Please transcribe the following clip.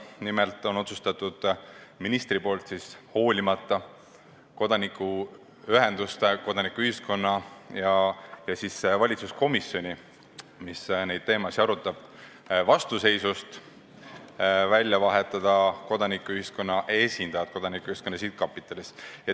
Nimelt on minister otsustanud, hoolimata kodanikuühenduste ja valitsuses neid teemasid arutava komisjoni vastuseisust vahetada välja kodanikuühiskonna esindajad Kodanikuühiskonna Sihtkapitalis.